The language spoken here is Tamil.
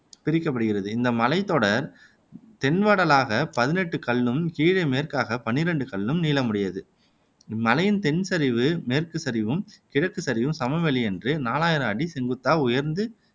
பிரிக்﻿கப்படுகிறது இந்த மலைத் தொடர் தென்வடலாகப் பதினெட்டுக் கல்லும் கிழே மேற்காகப் பன்னிரண்டு கல்லும் நீளமுடையது இம் மலையின் தென் சரிவு மேற்குச் சரிவும் கிழக்குச் சரிவும் சமவெளியினின்று நாலாயிரம் அடி செங்குத்தாக உயர்ந்து